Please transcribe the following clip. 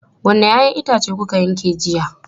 Wanne 'ya'yan itace kuka yanke jiya?